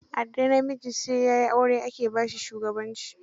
A da, namiji sai ya yi aure ake ba shi shugabanci